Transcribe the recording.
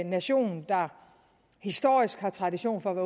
nation der historisk har tradition for at